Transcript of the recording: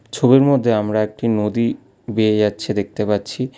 ছবির মধ্যে আমরা একটি নদী বেয়ে যাচ্ছে দেখতে পাচ্ছি।